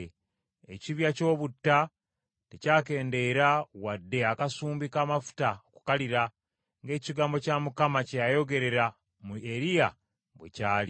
Ekibya ky’obutta tekyakendeera wadde akasumbi k’amafuta okukalira, ng’ekigambo kya Mukama kye yayogerera mu Eriya bwe kyali.